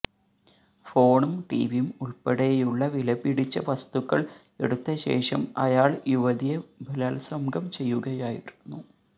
ഫോണും ടിവിയും ഉൾപ്പെടെയുള്ള വിലപിടിച്ച വസ്തുക്കൾ എടുത്ത ശേഷം അയാൾ യുവതിയെ ബലാത്സംഗം ചെയ്യുകയായിരുന്നു